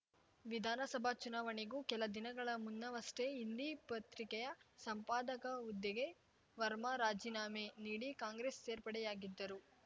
ವಿಧಾನಸಭಾ ಚುನಾವಣೆಗೂ ಕೆಲ ದಿನಗಳ ಮುನ್ನವಷ್ಟೇ ಹಿಂದಿ ಪತ್ರಿಕೆಯ ಸಂಪಾದಕ ಹುದ್ದೆಗೆ ವರ್ಮಾ ರಾಜೀನಾಮೆ ನೀಡಿ ಕಾಂಗ್ರೆಸ್‌ ಸೇರ್ಪಡೆಯಾಗಿದ್ದರು